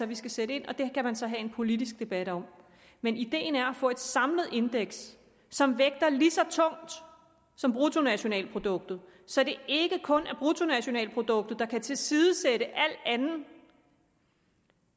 vi skal sætte ind og det kan man så have en politisk debat om men ideen er at få et samlet indeks som vægter lige så tungt som bruttonationalproduktet så det ikke kun er bruttonationalproduktet der kan tilsidesætte al anden